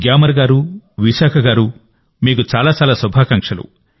గ్యామర్ గారు విశాఖ గారు మీకు చాలా చాలా శుభాకాంక్షలు